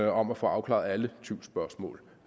om at få afklaret alle tvivlsspørgsmål